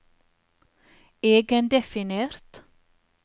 egendefinert